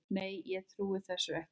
Nei, ég trúi þessu ekki.